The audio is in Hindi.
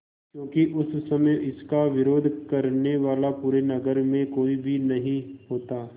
क्योंकि उस समय इसका विरोध करने वाला पूरे नगर में कोई भी नहीं होता